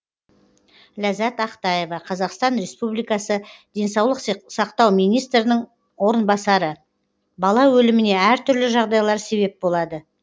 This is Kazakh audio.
ләззат ақтаева қазақстан республикасы денсаулық сақтау министрінің орынбасары бала өліміне әртүрлі жағдайлар себеп болады